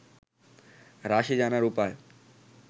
রাশি জানার উপায়